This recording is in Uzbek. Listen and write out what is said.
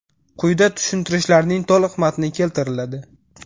Quyida tushuntirishlarning to‘liq matni keltiriladi.